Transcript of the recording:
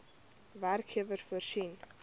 werkgewer voorsien